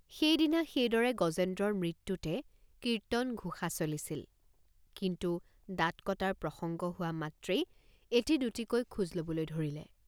সেইদিনা সেইদৰে গজেন্দ্ৰৰ মৃত্যুতে৷ কীৰ্তনঘোষ৷ চলিছিলকিন্তু দাঁত কটাৰ প্ৰসঙ্গ হোৱা মাত্ৰেই এটি দুটিকৈ খোজ লবলৈ ধৰিলে।